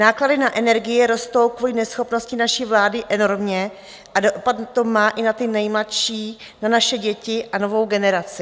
Náklady na energie rostou kvůli neschopnosti naší vlády enormně a dopad to má i na ty nejmladší, na naše děti a novou generaci.